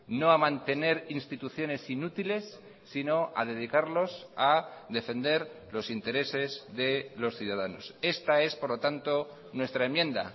no a mantener instituciones inútiles sino a dedicarlos a defender los intereses de los ciudadanos esta es por lo tanto nuestra enmienda